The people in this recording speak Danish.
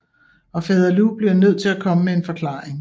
Og fader Lu bliver nødt til at komme med en forklaring